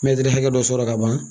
mɛtiri hakɛ dɔ sɔrɔ ka ban